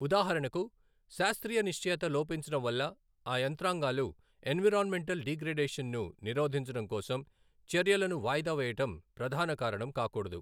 ఉదాహరణకు శాస్త్రీయ నిశ్చయత లోపించడం వల్ల ఆ యంత్రాంగాలు ఎన్విరాన్మెంటల్ డిగ్రేడషన్ ను నిరోధించడం కోసం చర్యలను వాయిదా వేయడం ప్రధాన కారణం కాకూడదు.